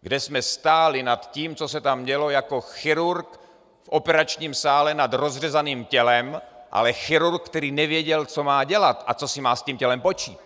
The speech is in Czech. kde jsme stáli nad tím, co se tam dělo, jako chirurg v operačním sále nad rozřezaným tělem, ale chirurg, který nevěděl, co má dělat a co si má s tím tělem počít.